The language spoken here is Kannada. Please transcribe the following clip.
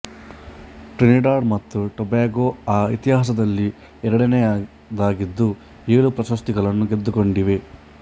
ಟ್ರಿನಿಡಾಡ್ ಮತ್ತು ಟೊಬ್ಯಾಗೊ ಆ ಇತಿಹಾಸದಲ್ಲಿ ಎರಡನೆಯದಾಗಿದ್ದು ಏಳು ಪ್ರಶಸ್ತಿಗಳನ್ನು ಗೆದ್ದುಕೊಂಡಿವೆ